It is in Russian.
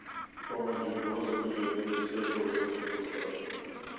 помоги господи от всякого супостата